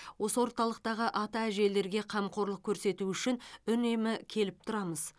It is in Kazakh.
осы орталықтағы ата әжелерге қамқорлық көрсету үшін үнемі келіп тұрамыз